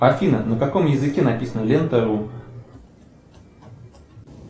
афина на каком языке написана лента ру